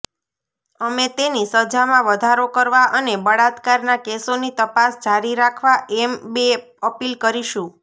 અમે તેની સજામાં વધારો કરવા અને બળાત્કારના કેસોની તપાસ જારી રાખવા એમ બે અપીલ કરીશું